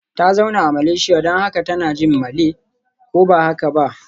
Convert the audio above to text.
Ta zauna a Malaysia don haka tana jin Malay, ko ba haka ba?